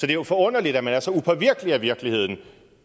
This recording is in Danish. er jo forunderligt at man er så upåvirkelig af virkeligheden